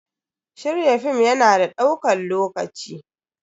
Shirya film ya na da ɗaukan lokaci.